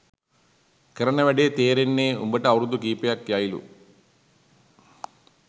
කරන වැඩ තෙරෙන්න උබට අවුරුදු කීපයක් යයිලු